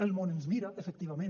el món ens mira efectivament